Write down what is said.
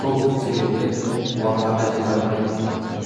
сол себептен уағдаға жете алмай